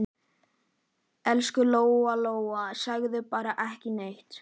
Elsku Lóa Lóa, segðu bara ekki neitt.